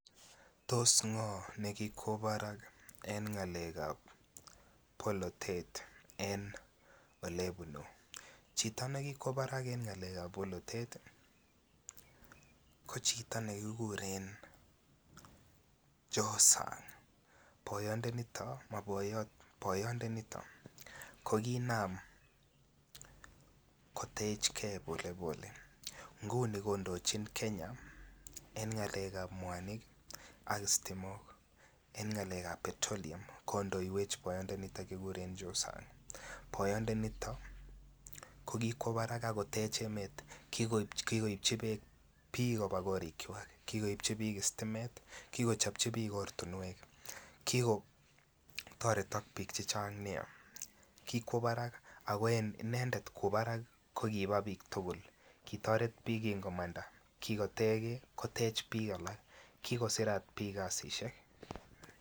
Tos ngo ne kikwo barak en ngalekab polotet en ole bunu, chito ne kikwo barak en ngalekab polotet ko chito ne kiguren Josa boyondo niton mo boyot ko kinam kotech gee pole pole. Ngunii kondojin Kenya en ngalekab mwanik ak stimok en ngalekab petroleum kondoiwech boyondo niton kiguren Josa boyondo niton ko kikwo barak ak kotech emet kigoibchi beek biik kobaa korikwak. Kigoibji biik stimet kigochobji biik ortinwek. Kikotoret biik chechang nia. Kikwo barak ako en inendet kwo barak ko kibaa biik tugul kitoret biik komanda kigotech gee kotech biik alak Kiko sirat biik kazishek